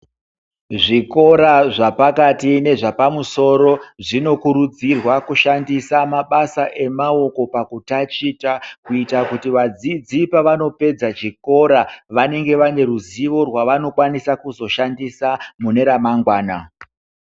Zvikora zvepakati zvepamusoro zvinokuridzirwa kushandisa mabasa emaoko pakuti tachita kuita kuti vadzidzi pavanopedza chikora vanenge vaneruzivo rwava nozofanirwa kuzoshandisa mune ramangwana.